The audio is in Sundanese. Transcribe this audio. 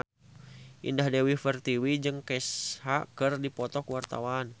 Indah Dewi Pertiwi jeung Kesha keur dipoto ku wartawan